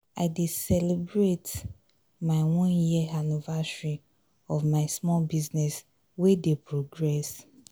i dey celebrate dey celebrate my one year anniversary of my small business we dey progress.